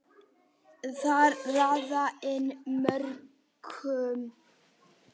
Þar raðaði inn mörkum.